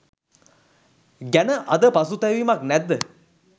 ගැන අද පසුතැවීමක් නැද්ද?